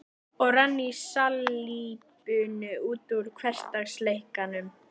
Og rann í salíbunu út úr hversdagsleikanum.